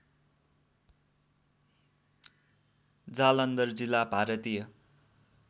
जालन्धर जिल्ला भारतीय